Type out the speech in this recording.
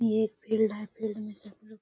ये फिर में सफल --